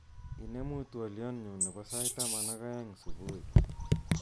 Inemuu twoliotnyu nebo sait taman ak aeng subui